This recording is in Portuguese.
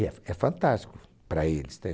E é f é fantástico para eles,